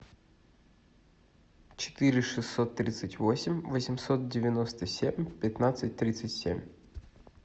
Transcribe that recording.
четыре шестьсот тридцать восемь восемьсот девяносто семь пятнадцать тридцать семь